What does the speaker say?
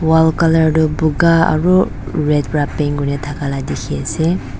wall colour du buka aru red pra paint kurna thaka la dikhi ase.